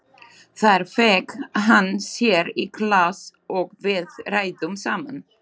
Þar fékk hann sér í glas og við ræddum saman.